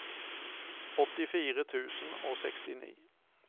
åttifire tusen og sekstini